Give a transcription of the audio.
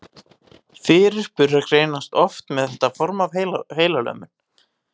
Fyrirburar greinast oft með þetta form af heilalömun.